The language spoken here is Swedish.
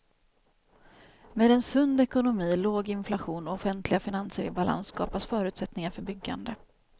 Med en sund ekonomi, låg inflation och offentliga finanser i balans skapas förutsättningar för byggande.